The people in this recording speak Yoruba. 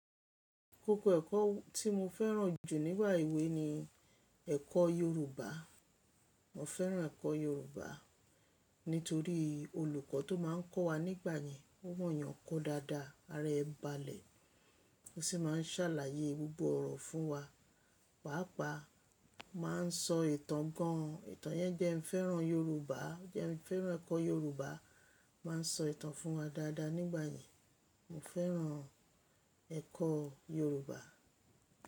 Kókó ẹ̀kọ́ tí mo fẹ́ràn jù nígbà èwe ni ẹ̀kọ́ Yorùbá. Mo fẹ́ràn ẹ̀kọ́ Yorùbá nítorí olùkọ́ tó máa ń kọ́ wa nígbà yẹn, ó mọ̀ yàn kọ́ dáadáa. Ara ẹ balẹ̀. Ó sì máa ń ṣàlàyé gbogbo ọ̀rọ̀ fún wa. Pàápàá o máa ń sọ ìtàn gan-an. Ìtàn yẹn jẹ́ n fẹ́ràn Yorùbá. Jẹ́ n fẹ́ràn ẹ̀kọ́ Yorùbá. O Máa ń sọ ìtàn fún wa dáadáa nígbà yẹn. Mo fẹ́ràn ẹ̀kọ́ Yorùbá.